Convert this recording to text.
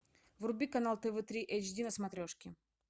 вруби канал тв три эйч ди на смотрешке